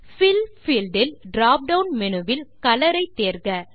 bill field இல் drop down menu வில் colour ஐ தேர்க